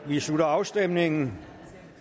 vi slutter afstemningen